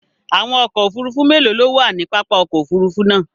Àwọn ọkò òfúrùfú mélòó ló wà ní pápá òkò òfúrùfú náà?